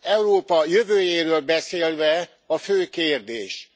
Európa jövőjéről beszélve a fő kérdés